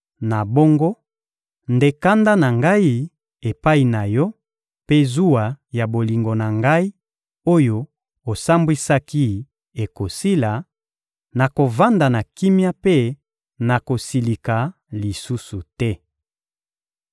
Na bongo nde kanda na Ngai epai na yo mpe zuwa ya bolingo na Ngai oyo osambwisaki ekosila; nakovanda kimia mpe nakosilika lisusu te.